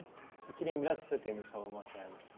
E que lembrança você tem da sua avó materna?